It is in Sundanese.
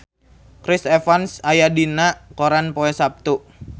Chris Evans aya dina koran poe Saptu